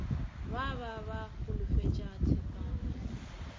ba ba ba holofetša tshepagalo